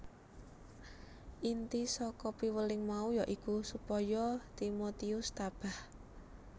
Inti saka piweling mau ya iku supaya Timotius tabah